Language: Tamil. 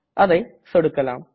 அதை சொடுக்கலாம்